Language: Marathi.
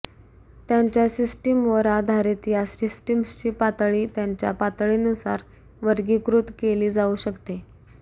त्यांच्या सिस्टीमवर आधारित या सिस्टीम्सची पातळी त्यांच्या पातळीनुसार वर्गीकृत केली जाऊ शकते